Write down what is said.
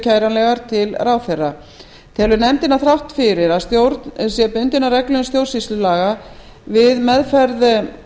kæranlegar til ráðherra telur nefndin að þrátt fyrir að stjórn sé bundin af reglum stjórnsýslulaga við meðferð